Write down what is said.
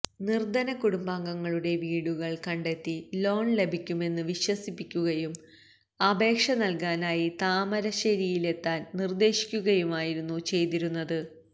നിര്ധന കുടുംബങ്ങളുടെ വീടുകള് കണ്ടെത്തി ലോണ് ലഭിക്കുമെന്ന് വിശ്വസിപ്പിക്കുകയും അപേക്ഷ നല്കാനായി താമരശ്ശേരിയിലെത്താന് നിര്ദ്ദേശിക്കുകയുമായിരുന്നു ചെയ്തിരുന്നത്